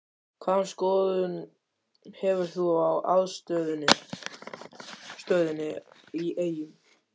Hvaða skoðun hefur þú á aðstöðunni í Eyjum?